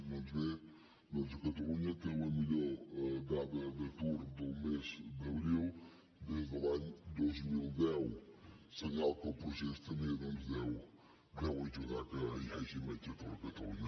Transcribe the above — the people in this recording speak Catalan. doncs bé catalunya té la millor dada d’atur del mes d’abril des de l’any dos mil deu senyal que el procés també doncs deu ajudar que hi hagi menys atur a catalunya